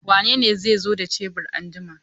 Wanene zai zo da shebur anjima?